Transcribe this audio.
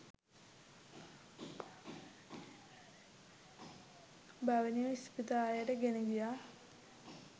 භවනිව ඉස්පිරිතාලෙට ගෙන ගියා.